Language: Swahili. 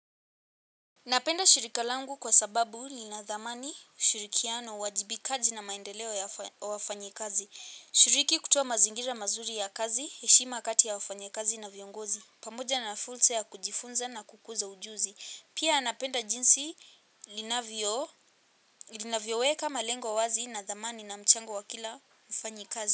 Napenda shirika langu kwa sababu lina thamani ushurikiano uwajibikaji na maendeleo ya wafanyikazi. Shiriki kutoa mazingira mazuri ya kazi, heshima kati ya wafanyikazi na viongozi. Pamoja na fursa ya kujifunza na kukuza ujuzi. Pia napenda jinsi linavyo weka malengo wazi na thamani na mchango wa kila mfanyikazi.